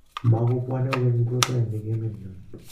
matukubwoni kokeny kiprutoinik emet nyo